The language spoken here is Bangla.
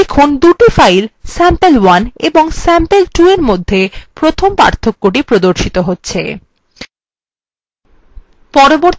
দেখুন দুটি files sample1 এবং sample2এর মধ্যে প্রথম পার্থক্য the প্রদর্শিত হচ্ছে